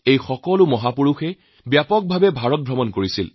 এই সকল মহাপুৰুষে দেশৰ চাৰিও চুক ঘুৰিছে